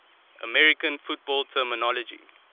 american football terminology